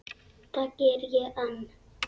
Það geri ég enn.